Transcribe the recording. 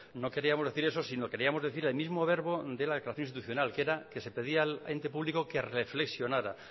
no queríamos decir eso sino queríamos decir el mismo verbo de la declaración institucional que era que se pedía al ente público que reflexionara